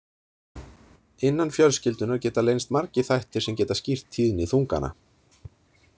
Innan fjölskyldunnar geta leynst margir þættir sem geta skýrt tíðni þungana.